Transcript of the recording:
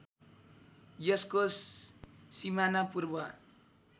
यसको सिमाना पूर्व